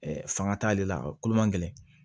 fanga t'ale la kolo man gɛlɛn